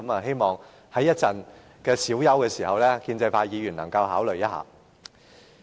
希望在稍後小休時，建制派議員能夠考慮一下。